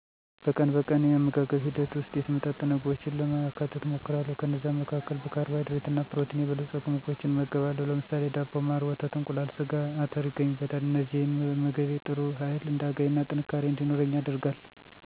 በቀን በቀን የአመጋገብ ሂደት ውስጥ የተመጣጠነ ምግቦችን ለማካተት እሞክራለሁ። ከነዛም መካከል በካርቦሀይድሬት እና ፕሮቲን የበለፀጉ ምግቦችን እመገባለሁ ለምሳሌ ዳቦ፣ ማር፣ ወተት፣ እንቁላል፣ ስጋ፣ አተር ይገኙበታል። እነዚህን መመገቤ ጥሩ ህይል እንዳገኝና ጥንካሬ እንዲኖረኝ ያደርጋል።